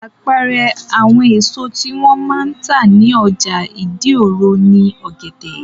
Àpẹẹrẹ àwọn èso tí wọ́n máa ń tà ní ọjà ìdí-òro ni ọ̀gẹ̀dẹ̀.